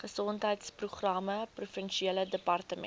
gesondheidsprogramme provinsiale departement